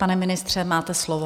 Pane ministře, máte slovo.